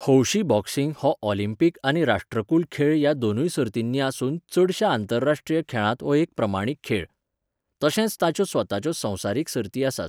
हौशी बॉक्सिंग हो ऑलिंपिक आनी राष्ट्रकुल खेळ ह्या दोनूय सर्तींनी आसून चडशा आंतरराष्ट्रीय खेळांत हो एक प्रमाणीत खेळ. तशेंच ताच्यो स्वताच्यो संवसारीक सर्ती आसात.